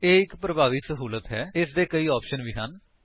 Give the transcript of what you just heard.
ਇਹ ਇੱਕ ਪਰਭਾਵੀ ਸਹੂਲਤ ਹੈ ਅਤੇ ਇਸਦੇ ਕਈ ਆਪਸ਼ਨਸ ਵੀ ਹਨ